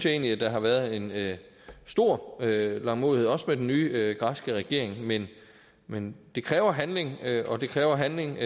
egentlig der har været en stor langmodighed også med den nye græske regering men men det kræver handling og det kræver handling